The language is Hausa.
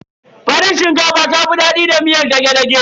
Farin shinkafa ta fi daɗi da miyar dage-dage.